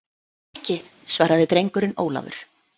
Ekki, svaraði drengurinn Ólafur.